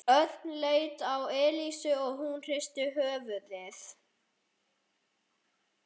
Örn leit á Elísu og hún hristi höfuðið.